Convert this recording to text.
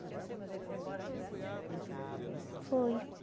Eu sei, mas ele foi embora nesse dia, depois que ele falou isso. Foi. Ele foi embora?